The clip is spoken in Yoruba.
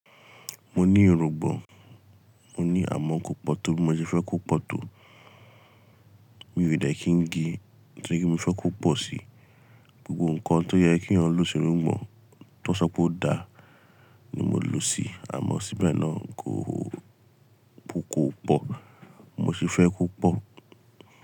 Mo ní ìrúngbòn, mo ní àmọ́kò pọ̀ tó bí mo ṣe fẹ́ kó pọ̀ tó. Mi ò dẹ̀ kí n gé torí mo fẹ́ kó pọ̀ sí. Gbogbo ǹkan tóyẹ kí ẹ̀yàn lò sí irùngbọ̀n tán sọpé o da ni mo lòsí àmọ́ síbẹ̀ náà kò ó pọ̀. Mo sì fẹ́ kó pọ̀.